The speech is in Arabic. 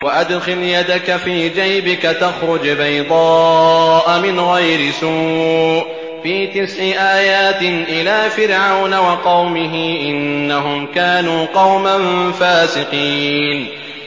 وَأَدْخِلْ يَدَكَ فِي جَيْبِكَ تَخْرُجْ بَيْضَاءَ مِنْ غَيْرِ سُوءٍ ۖ فِي تِسْعِ آيَاتٍ إِلَىٰ فِرْعَوْنَ وَقَوْمِهِ ۚ إِنَّهُمْ كَانُوا قَوْمًا فَاسِقِينَ